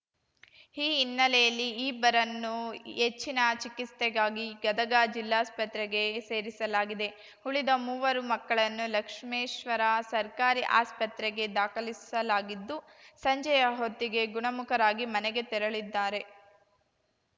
ಈ ಹಿನ್ನೆಲೆಯಲ್ಲಿ ಈ ಇಬ್ಬರನ್ನು ಹೆಚ್ಚಿನ ಚಿಕಿತ್ಸೆಗಾಗಿ ಗದಗ ಜಿಲ್ಲಾಸ್ಪತ್ರೆಗೆ ಸೇರಿಸಲಾಗಿದೆ ಉಳಿದ ಮೂವರು ಮಕ್ಕಳನ್ನು ಲಕ್ಷ್ಮೇಶ್ವರ ಸರ್ಕಾರಿ ಆಸ್ಪತ್ರೆಗೆ ದಾಖಲಿಸಲಾಗಿದ್ದು ಸಂಜೆಯ ಹೊತ್ತಿಗೆ ಗುಣಮುಖರಾಗಿ ಮನೆಗೆ ತೆರಳಿದ್ದಾರೆ